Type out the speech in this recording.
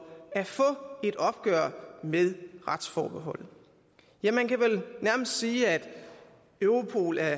at få et opgør med retsforbeholdet ja man kan vel nærmest sige at europol er